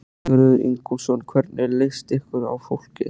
Sigurður Ingólfsson: Hvernig leist ykkur á fólkið?